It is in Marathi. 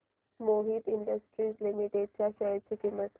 मोहित इंडस्ट्रीज लिमिटेड च्या शेअर ची किंमत